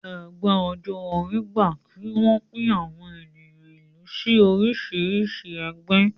Ẹgbẹ́ ọjọ́ orí gba kí wọ́n pín àwọn ènìyàn ìlú sí oríṣìíríṣìí ẹgbẹ́